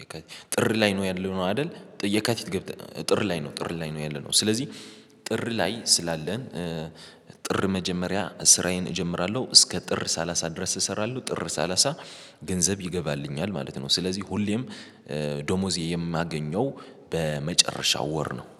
የካቲት ጥር ላይ ነው ያለነው አይደል? የካቲት ጥር ላይ ነው ጥር ላይ ነው ያለነው። ስለዚህ ጥር ላይ ስላለን ጥር መጀመሪያ ስራዬን እጀምራለሁ እስከ ጥር ሰላሳ ድረስ እሰራለሁ ጥር ሰላሳ ገንዘብ ይገባልኛል። ማለት ነው። ስለዚህ ሁሌም ደመወዜ የማገኘው በመጨረሻው ወር ነው